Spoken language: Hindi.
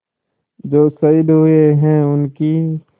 जो शहीद हुए हैं उनकी